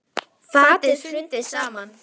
Fatið hrundi saman.